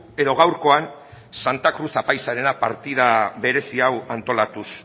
edo gaurkoan santa cruz apaizarena partida berezi hau antolatuz